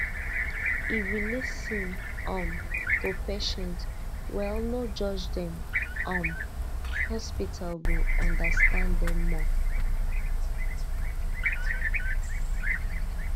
if you lis ten um to patient well no judge dem um hospital go understand dem more